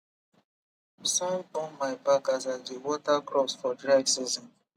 sun burn my back as i dey water crops for dry season